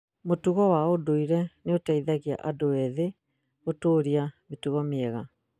mũtugo wa ũndũire nĩ ũteithagia andũ ethĩ gũtũũria mĩtugo mĩega